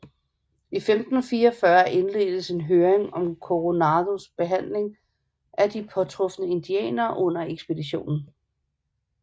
I 1544 indledtes en høring om Coronados behandling af de påtrufne indianere under ekspeditionen